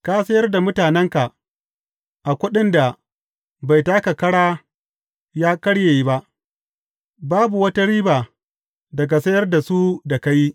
Ka sayar da mutanenka a kuɗin da bai taka ƙara ya karye ba babu wata riba daga sayar da su da ka yi.